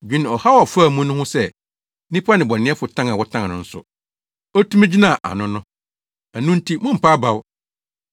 Dwene ɔhaw a ɔfaa mu no ho sɛ nnipa nnebɔneyɛfo tan a wɔtan no nso, otumi gyinaa ano no. Ɛno nti mommpa abaw.